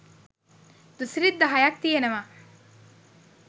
දුසිරිත් දහයක් තියෙනව